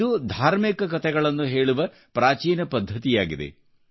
ಇದು ಧಾರ್ಮಿಕ ಕತೆಗಳನ್ನು ಹೇಳುವ ಪ್ರಾಚೀನ ಪದ್ಧತಿಯಾಗಿದೆ